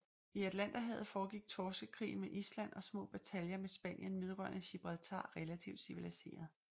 I Atlanterhavet foregik Torskekrigen med Island og små bataljer med Spanien vedrørende Gibraltar relativt civiliseret